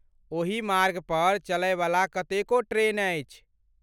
ओही मार्गपर चलयवला कतेको ट्रेन अछि।